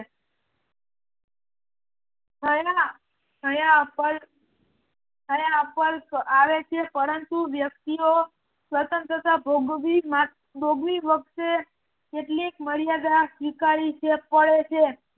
હયાપલ્પ આવે છે પરંતુ વ્યક્તિઓ સ્વતંત્રતા ભોગવી વખતે કેટલીક મર્યાદા સ્વીકારવી પડે છે.